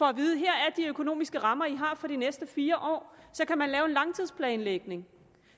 at vide her er de økonomiske rammer i har for de næste fire år så kan man lave en langtidsplanlægning